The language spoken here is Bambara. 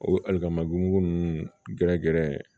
O alikamabu mugu nunnu gɛrɛ gɛrɛ